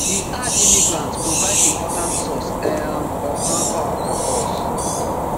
e add immigrants provide important source um of manpower for us